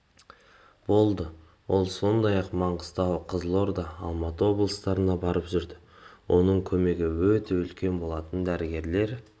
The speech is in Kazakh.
болды ол сондай-ақ маңғыстау қызылорда алматы облыстарына барып жүрді оның көмегі өте үлкен болатын дәрігерлер